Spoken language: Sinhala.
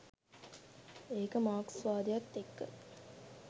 ඒක මාක්ස්වාදයත් එක්ක